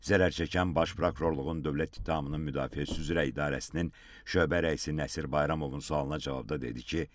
Zərər çəkən baş prokurorluğun dövlət ittihamının müdafiəsi üzrə idarəsinin şöbə rəisi Nəsir Bayramovun sualına cavabda dedi ki,